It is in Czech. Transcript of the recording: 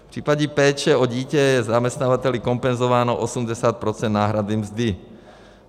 V případě péče o dítě je zaměstnavateli kompenzováno 80 % náhrady mzdy.